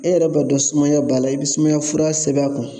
E yɛrɛ b'a dɔn sumaya b'a la i bɛ sumaya fura sɛbɛn a kun